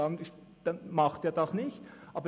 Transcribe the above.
Dann macht es nichts.